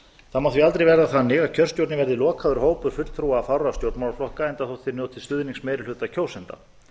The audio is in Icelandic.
það má því aldrei verða þannig að kjörstjórnir verði lokaður hópur fulltrúa fárra stjórnmálaflokka enda þótt þeir njóti stuðnings meiri hluta kjósenda